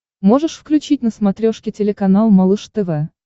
можешь включить на смотрешке телеканал малыш тв